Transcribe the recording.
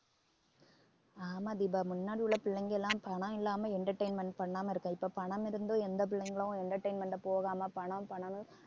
ஆமா தீபா முன்னாடி உள்ள பிள்ளைங்க எல்லாம் பணம் இல்லாம entertainment பண்ணாம இருக்க இப்ப பணம் இருந்தும் எந்த பிள்ளைங்களும் entertainment க்கு போகாம பணம் பணம்